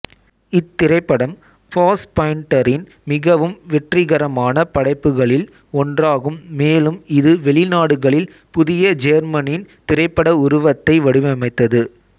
இத்திரைப்படம் ஃபாஸ்பைண்டரின் மிகவும் வெற்றிகரமான படைப்புகளில் ஒன்றாகும் மேலும் இது வெளி நாடுகளில் புதிய ஜேர்மனின் திரைப்பட உருவத்தை வடிவமைத்தது